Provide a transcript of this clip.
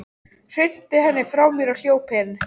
Hrinti henni frá mér og hljóp inn.